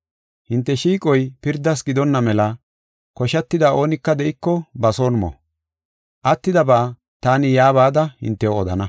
Hinte shiiqoy pirdas gidonna mela koshatida oonika de7iko, ba son mo. Attidaba taani yaa bada hintew odana.